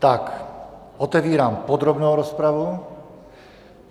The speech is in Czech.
Tak otevírám podrobnou rozpravu.